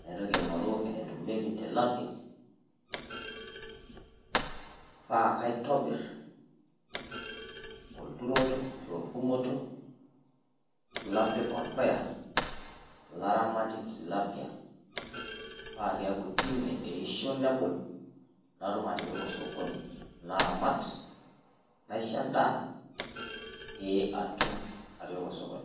naitoki aing'oru enetumieki ele tilapia paa kaitobir olturoro ashuu orgumoto lapik orpuya laramatie tilapia paakeeku tine eeishio nebulu natum atipika osokoni naramat nasisho endaa pee atum atipika osokoni.